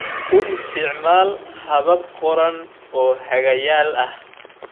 U isticmaal habab qoran oo hagayaal ah.